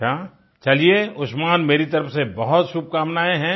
अच्छा चलिए उस्मान मेरी तरफ से बहुत शुभकामनाएं